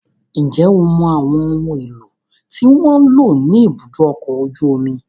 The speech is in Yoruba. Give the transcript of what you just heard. Ǹjẹ́ o mọ àwọn ohun èlò tí wọ́n ń lò ní ibùdó ọkọ̀ ojú omi?